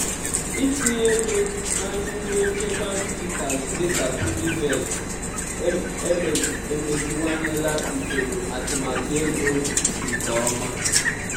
itinye ego na nyiwe nchekwa dijitalụ dịka piggyvest emeziwanyela usoro atụmatụ ego m nke ọma.